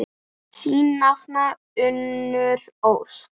Þín nafna, Unnur Ósk.